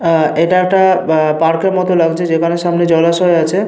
আহ এটা একটা আহ পার্ক এর মতো লাগছে যেখানে সামনে জলাশয় আছে।